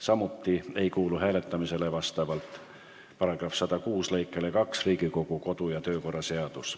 Seegi ei kuulu vastavalt Riigikogu kodu- ja töökorra seaduse § 106 lõikele 2 hääletamisele.